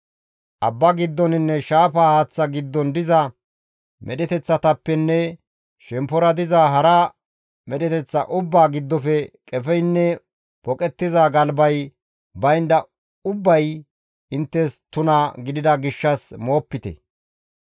Abba giddoninne shaafa haaththa giddon diza medheteththatappenne shemppora paxa diza hara medheteththata ubbaa giddofe qefeynne poqettiza galbay baynda ubbay inttes tuna gidida gishshas moopite.